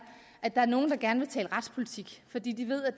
at der er nogle der gerne vil tale retspolitik fordi de ved at